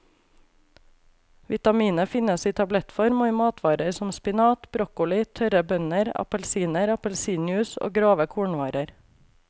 Vitaminet finnes i tablettform og i matvarer som spinat, broccoli, tørre bønner, appelsiner, appelsinjuice og grove kornvarer.